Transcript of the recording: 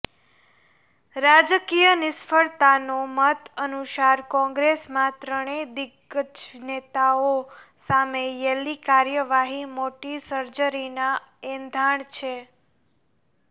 રાજકિય નિષ્ણાંતોના મત અનુસાર કોંગ્રેસમાં ત્રણેય દિગ્ગજ નેતાઓ સામે યેલી કાર્યવાહી મોટી સર્જરીના એંધાણ છે